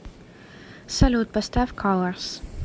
салют поставь каларс